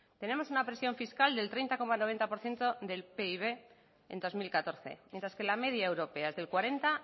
tenemos una presión fiscal del treinta coma noventa por ciento del pib en dos mil catorce mientras que la media europea es del cuarenta